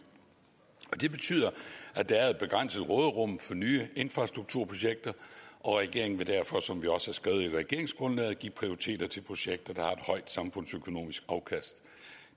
det betyder at der er et begrænset råderum for nye infrastrukturprojekter og regeringen vil derfor som vi også har skrevet i regeringsgrundlaget give prioriteter til projekter der har et højt samfundsøkonomisk afkast